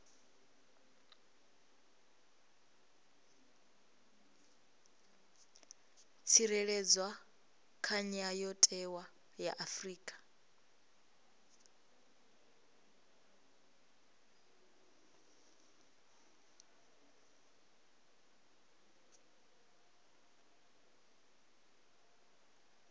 tsireledzwa kha ndayotewa ya afrika